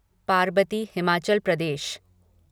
Parbati Himachal Pradesh